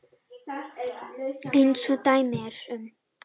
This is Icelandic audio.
Eins og dæmi eru um.